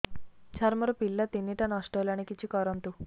ସାର ମୋର ପିଲା ତିନିଟା ନଷ୍ଟ ହେଲାଣି କିଛି କରନ୍ତୁ